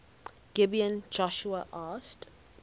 gibeon joshua asked